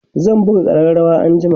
zan buga ƙararawa anjima